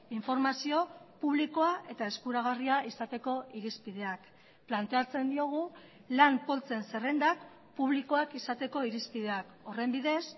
informazio publikoa eta eskuragarria izateko irizpideak planteatzen diogu lan poltsen zerrendak publikoak izateko irizpideak horren bidez